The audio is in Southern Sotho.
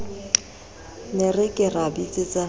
ne re ka ra bitsetsa